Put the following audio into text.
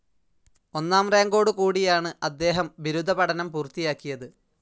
ഒന്നാം റാങ്കോടുകൂടിയാണ് അദ്ദേഹം ബിരുദ പഠനം പൂർത്തിയാക്കിയത്.